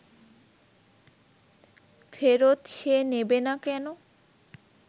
ফেরত সে নেবে না কেন